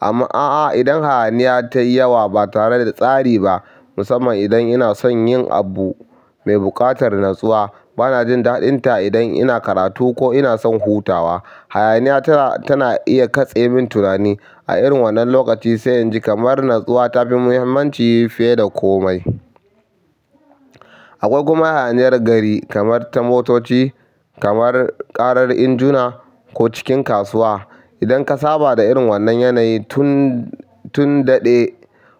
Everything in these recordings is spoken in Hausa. Amma a'a idan hayaniya tayi yawa ba tare da tsari ba, musamman idan ina son yin abu mai buƙatar natsuwa, bana jin daɗinta idan ina karatu ko ina son hutawa. Hayaniya tana, tana iya katse min tunani a irin wannan lokaci. Sai yanzu kamar natsuwa ta fi muhimmanci fiye da komai. Akwai kuma hayaniyar gari kamar ta motoci, kamar ƙarar injuna ko cikin kasuwa. Idan ka saba da irin wannan yanayi tun, tun daɗe,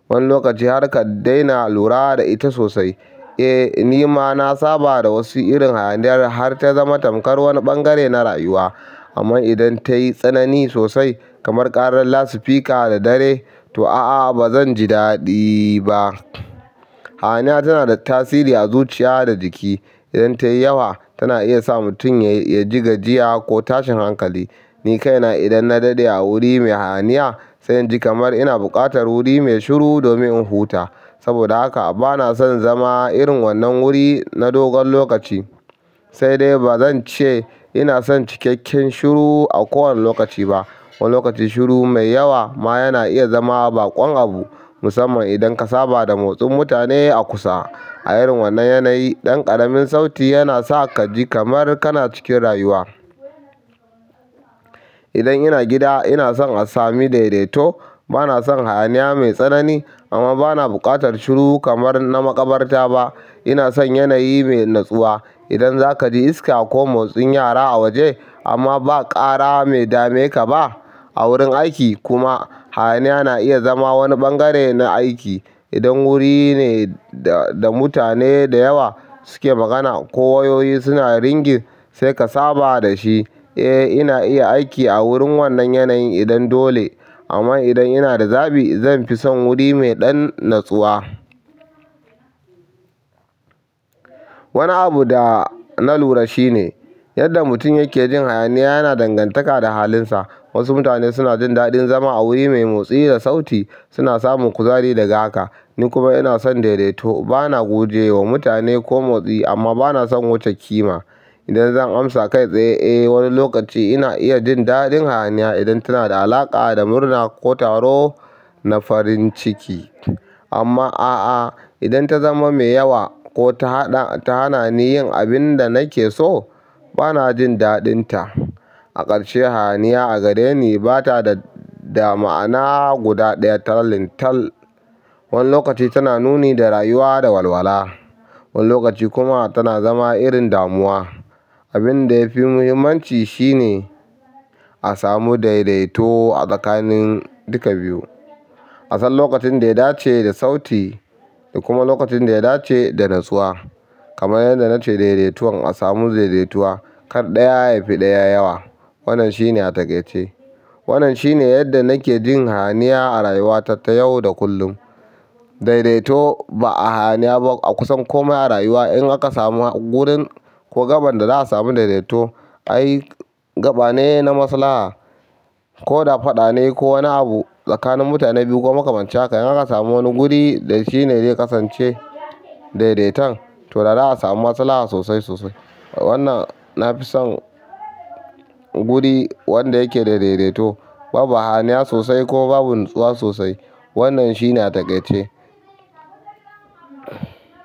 wani lokaci har ka daina lura da ita sosai. Eh ni ma na saba da wasu irin hayaniyar har ta zama tamkar wani ɓangare na rayuwa. Amma idan ta yi tsanani sosai kamar ƙarar lasifika da dare, to a'a ba zan ji daɗi ba. Hayaniya tana da tasiri a zuciya da jiki. Idan ta yi yawa tana iya sa mutum ya ji gajiya ko tashin hankali. Ni kaina idan na daɗe a wuri mai hayaniya, sai inji kamar ina buƙatar wuri mai shiru domin in huta. Saboda haka bana son zama irin wannan wuri na dogon lokaci. Sai dai ba zan ce ina son cikakken shiru a kowane lokaci ba. Wani lokaci shiru mai yawa ma yana iya zama baƙon abu musamman idan ka saba da motsin mutane a kusa. A irin wannan yanayi ɗan ƙaramin sauti yana sa ka ji kamar kana cikin rayuwa. Idan ina gida inason a samu daidaito. Banasan hayaniya mai tsanani amma bana buƙatar shiru kamar na makabarta ba ina son yanayi mai natsuwa. Idan za ka ji iska ko motsin yara a waje amma ba ƙara mai dame ka ba. A wurin aiki kuma hayaniya na iya zama wani ɓangare na aiki. Idan wuri ne da mutane da yawa suke magana ko wayoyi suna ringin, sai ka saba da shi. Eh ina iya aiki a wurin wannan yanayin idan dole. Amma idan ina da zaɓi zan fi son wuri mai ɗan natsuwa. Wani abu da na lura shi ne yadda mutum yake jin hayaniya yana dangantaka da halinsa. Wasu mutane suna jin daɗin zama a wuri mai motsi da sauti, suna samun kuzari daga haka. Ni kuma ina son daidaito. Bana guje wa mutane ko motsi amma bana son wuce ƙima. Idan zan amsa kai tsaye, eh wani lokaci ina iya jin daɗin hayaniya idan tana da alaƙa da murna ko taro na farin ciki. Amma a'a idan ta zama mai yawa ko ta haɗa, ta hana ni yin abin da nake so bana jin daɗinta. A ƙarshe hayaniya a gareni ba ta da, da ma'ana guda ɗaya tallintal. Wani lokaci tana nuni da rayuwa da walwala. Wani lokaci kuma tana zama irin damuwa. Abin da ya fi muhimmanci shi ne a samu daidaito a tsakanin duka biyu. Asan lokacin da ya dace da sauti da kuma lokacin da ya dace a nutsuwa kamar yadda na ce daidaituwan a samu daidaituwa. Kar ɗaya ya fi ɗaya yawa. Wannan shi ne a takaice. Wannan shi ne yadda nake jin hayaniya a rayuwata ta yau da kullum. Daidaito ba a hayaniya ba a kusan komai a rayuwa. In aka samu gurin ko gaban da za a samu daidaito, ai gaba ne na maslaha ko da faɗa ne ko wani abu tsakanin mutane biyu ko makamancin haka. In aka samu wani guri da shi ne ya kasance daidaitan to da za a samu maslaha sosai sosai. Wannan na fi son guri wanda yake da daidaito. Babu hayaniya sosai ko babu natsuwa sosai. Wannan shi na takaice.